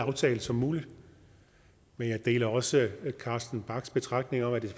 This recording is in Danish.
aftale som muligt men jeg deler også carsten bachs betragtning om at det